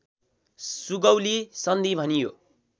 सुगौली सन्धि भनियो